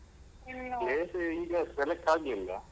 place ಈಗ select ಆಗ್ಲಿಲ್ಲ.